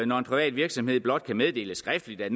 når en privat virksomhed blot kan meddele skriftligt at